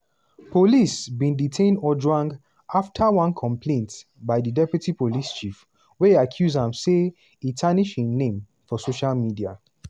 police bin detain ojwang afta one complaint by di deputy police chief wey accuse am say e tarnish im name on social media.